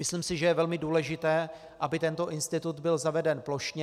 Myslím si, že je velmi důležité, aby tento institut byl zaveden plošně.